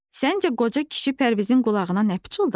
Səncə qoca kişi Pərvizin qulağına nə pıçıldadı?